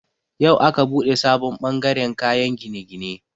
Yau aka buɗe sabon bangaren kayan gine-gine.